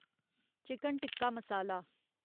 chicken tikka मसाला